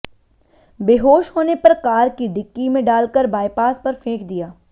बेहोश होने पर कार की डिक्की में डालकर बायपास पर फेंक दिया